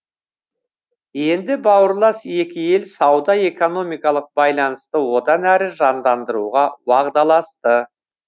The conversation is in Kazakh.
енді бауырлас екі ел сауда экономикалық байланысты одан әрі жандандыруға уағдаласты